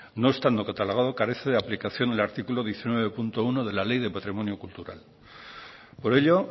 no estando catalogado carece de aplicación el artículo diecinueve punto uno de la ley de patrimonio cultural por ello